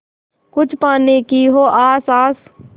कुछ पाने की हो आस आस